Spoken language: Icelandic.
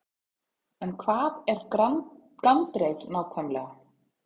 En hvað er gandreið nákvæmlega?